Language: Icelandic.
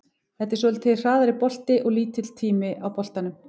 Þetta er svolítið hraðari bolti og lítill tími á boltanum.